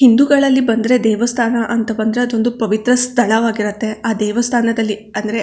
ಹಿಂದುಗಳಲ್ಲಿ ಬಂದ್ರೆ ದೇವಸ್ಥಾನ ಅಂತ ಬಂದ್ರೆ ಅದೊಂದು ಪವಿತ್ರ ಸ್ಥಳವಾಗಿರುತ್ತೆ ಆ ದೇವಸ್ಥಾನದಲ್ಲಿ ಅಂದ್ರೆ.